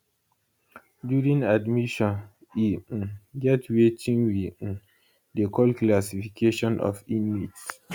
during admission e um get wetin we um dey call classification of inmates